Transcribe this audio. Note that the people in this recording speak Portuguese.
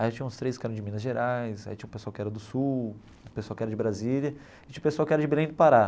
Aí tinha uns três que eram de Minas Gerais, aí tinha um pessoal que era do Sul, um pessoal que era de Brasília, e tinha um pessoal que era de Belém do Pará.